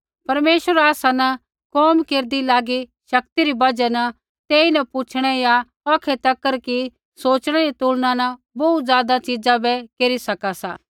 परमेश्वर आसा न कोम केरदी लागी शक्ति री बजहा न तेइन पुछ़णै या औखै तक कि सोच़णै री तुलना न बोहू ज़ादा च़ीज़ा बै केरी सका सा